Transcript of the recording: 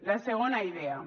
la segona idea